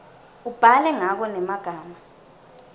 ubhale ngako ngemagama